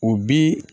O bi